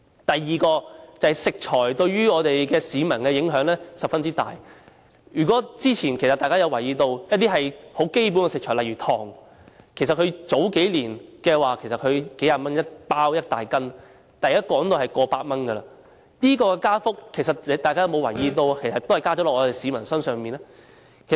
第二，食材對於市民的影響十分大，之前如果大家有留意，一些基本食材，例如糖，數年前只是數十元一斤一大袋，但現在已經過百元，大家有沒有留意這個加幅最終是由市民負擔。